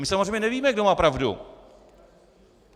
My samozřejmě nevíme, kdo má pravdu.